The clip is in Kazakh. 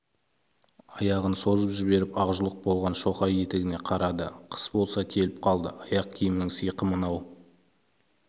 аяғын созып жіберіп ақжұлық болған шоқай етігіне қарады қыс болса келіп қалды аяқ киімнің сиқы мынау